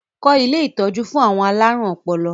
Kọ́ ilé ìtọ́jú fún àwọn alárùn ọpọlọ!